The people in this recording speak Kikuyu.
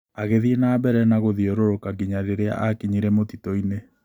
Agĩthiĩ na mbere na gũthiũrũrũka nginya rĩrĩa aakinyire mũtitũ-inĩ.